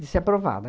de ser aprovada.